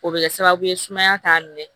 O bɛ kɛ sababu ye sumaya t'a minɛ